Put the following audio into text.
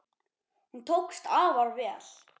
Hún tókst afar vel.